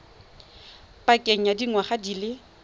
pakeng ya dingwaga di le